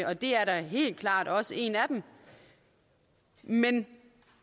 og det er da helt klart også en af dem men